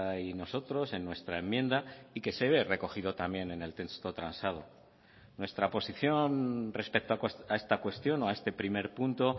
y nosotros en nuestra enmienda y que se ve recogido también en el texto transado nuestra posición respecto a esta cuestión o a este primer punto